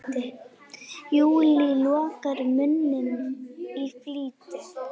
Júlía lokar munni í flýti.